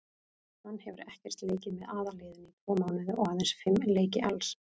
Hann hefur ekkert leikið með aðalliðinu í tvo mánuði og aðeins fimm leiki alls.